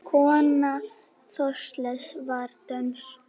Kona Þorkels var dönsk.